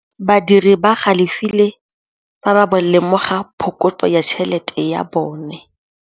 Badiri ba galefile fa ba lemoga phokotsô ya tšhelête ya bone.